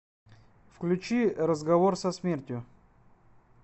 включи разговор со смертью